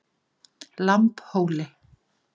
Lambhóli